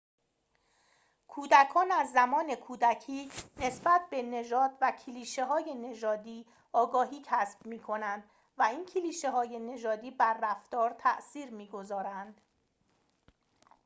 کودکان از زمان کودکی نسبت به نژاد و کلیشه های نژادی آگاهی کسب می‌کنند و این کلیشه های نژادی بر رفتار تأثیر می گذارند